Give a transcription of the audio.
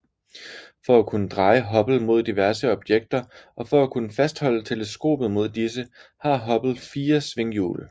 For at kunne dreje Hubble mod diverse objekter og for at kunne fastholde teleskopet mod disse har Hubble fire svinghjul